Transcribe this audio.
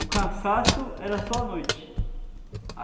O cansaço era só à noite.